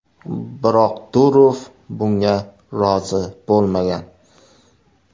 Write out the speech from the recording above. Biroq Durov bunga rozi bo‘lmagan.